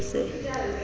ya ba e se e